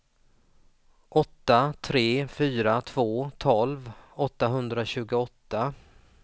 åtta tre fyra två tolv åttahundratjugoåtta